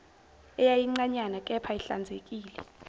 eyayincanyana kepha ihlanzekile